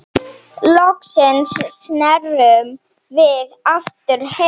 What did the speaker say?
Loksins snerum við aftur heim.